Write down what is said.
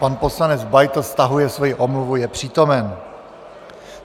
Pan poslanec Beitl stahuje svoji omluvu, je přítomen.